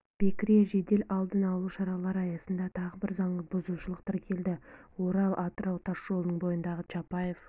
бекіре жедел алдын алу шаралары аясында тағы бір заң бұзушылық тіркелді орал-атырау тас жолының бойындағы чапаев